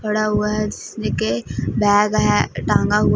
पड़ा हुआ है जिसमें की बैग है टंगा हु--